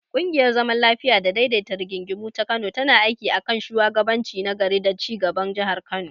Ƙungiyar zaman lafiya da daidaita rigingimu ta Kano tana aiki a kan shugabanci na gari da ci gaban Jihar Kano.